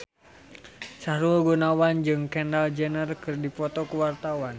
Sahrul Gunawan jeung Kendall Jenner keur dipoto ku wartawan